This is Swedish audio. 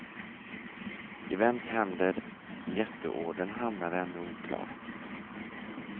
I vems händer jätteordern hamnar är ännu oklart.